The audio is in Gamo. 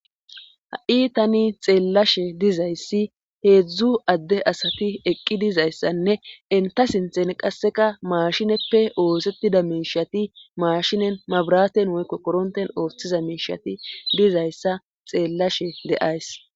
ha7i tani xeellashe dizayssi heedzdzu adde asati eqqi dizayssanne enta sinthen qasseka maashineppe oosettida miishati maashinen mabraten woykko koronten ooththiza miishati dizayssa xeellashe de7ays